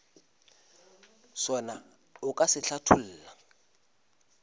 sona o ka se hlatholla